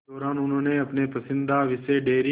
इस दौरान उन्होंने अपने पसंदीदा विषय डेयरी